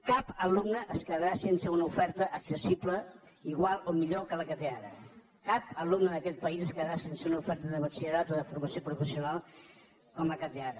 cap alumne es quedarà sense una oferta accessible igual o millor que la que té ara cap alumne d’aquest país es quedarà sense una oferta de batxillerat o de formació professional com la que té ara